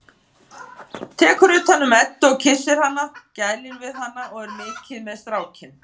Tekur utan um Eddu og kyssir hana, gælir við hana og er mikið með strákinn.